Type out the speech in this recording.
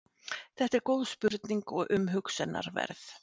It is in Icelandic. Þetta er góð spurning og umhugsunarverð.